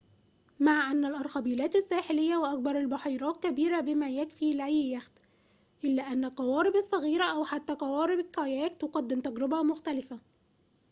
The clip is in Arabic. مع أنّ الأرخبيلات الساحلية وأكبر البحيرات كبيرة بما يكفي لأي يخت إلا أن القوارب الصغيرة أو حتى قوارب الكاياك تقدم تجربة مختلفة